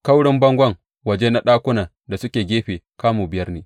Kaurin bangon waje na ɗakunan da suke gefe kamu biyar ne.